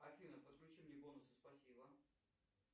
афина подключи мне бонусы спасибо